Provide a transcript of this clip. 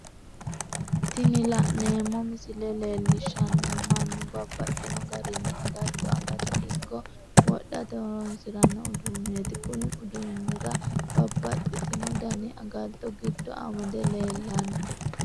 Tini la'neemo misile leellishanohu mannu babaxxino garinni agatto agatte ikko wodhate horonsiranno uduuneti, kuni uduunnira babaxitinno dani agato gido amade leellanno